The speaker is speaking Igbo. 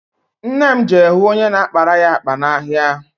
Nne m je hụ onye na-akpara ya akpa n'ahịa.